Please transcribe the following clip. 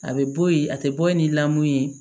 A bɛ bɔ yen a tɛ bɔ ye ni lamɔn ye